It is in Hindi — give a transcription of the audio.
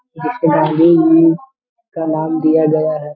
में कमान दिया गया है।